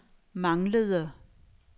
manglede